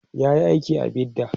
yayi aiki a bidda